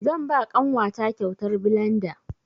Zan ba ƙanwa ta kyautar blanda.